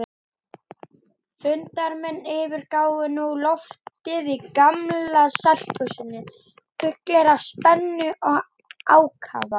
Fundarmenn yfirgáfu nú loftið í Gamla-salthúsinu fullir spennu og ákafa.